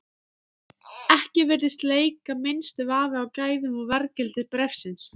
Ekki virðist leika minnsti vafi á gæðum og verðgildi bréfsins.